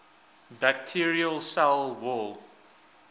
bacterial cell wall